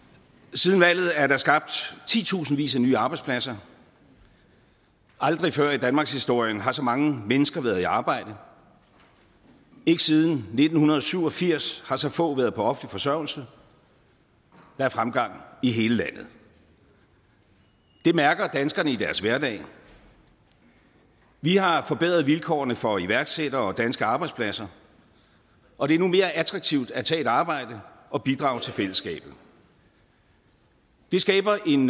siden valget er der skabt titusindvis af nye arbejdspladser aldrig før i danmarkshistorien har så mange mennesker været i arbejde ikke siden nitten syv og firs har så få været på offentlig forsørgelse der er fremgang i hele landet det mærker danskerne i deres hverdag vi har forbedret vilkårene for iværksættere og danske arbejdspladser og det er nu mere attraktivt at tage et arbejde og bidrage til fællesskabet det skaber en